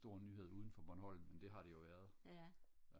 stor nyhed uden for Bornholm men det har det jo været